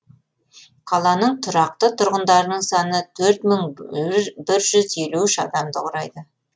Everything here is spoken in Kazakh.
қаланың тұрақты тұрғындарының саны төрт мың бір жүз елу үш адамды құрайды